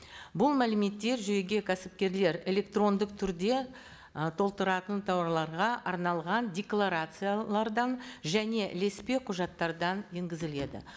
бұл мәліметтер жүйеге кәсіпкерлер электрондық түрде ы толтыратын тауарларға арналған декларациялардан және ілеспе құжаттардан енгізіледі